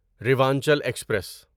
Rewanchal express